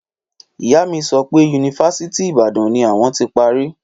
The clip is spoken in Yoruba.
Ìyá mi sọ pé yunifásítì Ibàdàn ni awọn ti pari